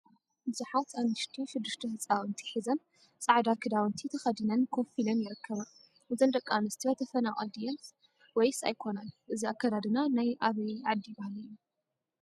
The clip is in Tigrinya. ብዙሓት አንስቲ ሽዱሽተ ህፃውንቲ ሒዘን ፃዕዳ ክዳውንቲ ተከዲነን ኮፍ ኢለን ይርከባ፡፡ እዘን ደቂ አንስትዮ ተፈናቀል ድየን ወይስ አይኮናን? እዚ አከዳድና ናይ አበይ ዓዲ ባህሊ እዩ?